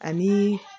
Ani